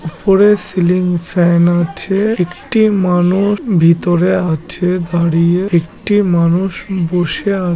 ওপরে ceiling fan আছে একটি মানুষ ভিতরে আছে দাঁড়িয়ে একটি মানুষ বসে আ--